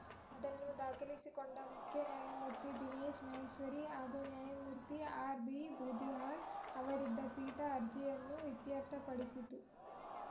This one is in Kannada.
ಅದನ್ನು ದಾಖಲಿಸಿಕೊಂಡ ಮುಖ್ಯ ನ್ಯಾಯಮೂರ್ತಿ ದಿನೇಶ್‌ ಮಹೇಶ್ವರಿ ಹಾಗೂ ನ್ಯಾಯಮೂರ್ತಿ ಆರ್‌ಬಿಬೂದಿಹಾಳ್‌ ಅವರಿದ್ದ ಪೀಠ ಅರ್ಜಿಯನ್ನು ಇತ್ಯರ್ಥಪಡಿಸಿತು